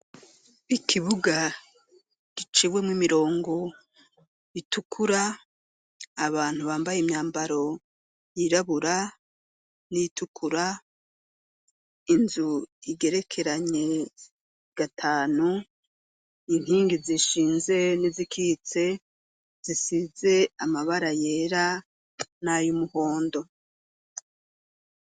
Ikibuga giciwemwo imirongo itukura abantu bambaye imyambaro yirabura n'itukura inzu igerekeranye gatanu inkingi zishinze ni zikitse zisize amabara yera nayu muhondo.